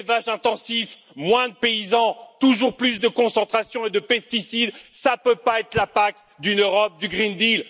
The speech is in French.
Plus d'élevages intensifs, moins de paysans, toujours plus de concentration et de pesticides, cela ne peut pas être l'impact d'une Europe du pacte vert.